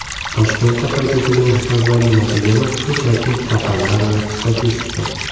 Toshkentda qayd etilgan avvalgi natijalar shunchaki raqamlar va statistika.